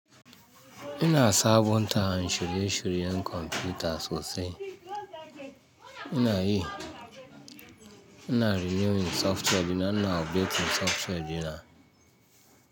Ina sa bun ta shire-shiyan kwamfuta sosai. Ina yi, ina renewing software dina, ina updating software dina.